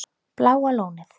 Bláa Lónið